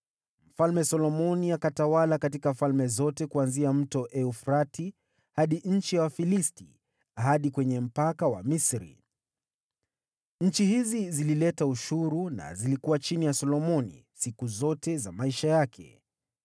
Mfalme Solomoni akatawala katika falme zote kuanzia Mto Frati hadi nchi ya Wafilisti, hadi kwenye mpaka wa Misri. Nchi hizi zilileta ushuru na zilikuwa chini ya Solomoni, siku zote za maisha yake.